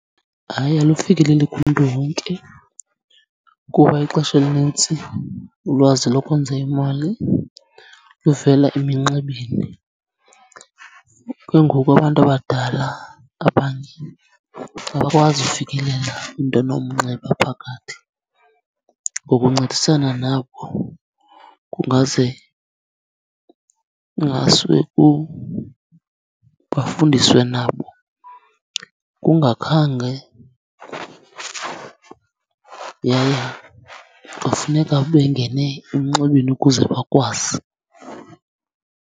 Hayi, alufikeleli kumntu wonke kuba ixesha elinintsi ulwazi lokwenza imali luvela eminxebeni. Ke ngoku abantu abadala abanye abakwazi kufikelela kwinto enomnxeba phakathi. Ngokuncedisana nabo kungaze, kungasuke bafundiswe nabo kungakhange, yaye kufuneka bengene emnxebeni ukuze bakwazi.